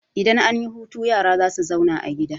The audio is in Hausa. Idan an yi hutu yara za su zauna a gida.